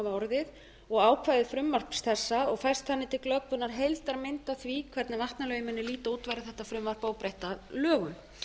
orðið og ákvæði frumvarps þessa og fært þannig til glöggvunar heildarmynd af því hvernig vatnalögin muni líta út verði þetta frumvarp óbreytt að lögum